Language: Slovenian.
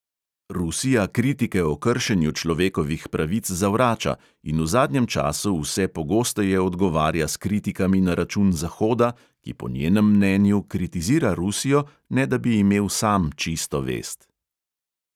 Rusija kritike o kršenju človekovih pravic zavrača in v zadnjem času vse pogosteje odgovarja s kritikami na račun zahoda, ki po njenem mnenju kritizira rusijo, ne da bi imel sam čisto vest.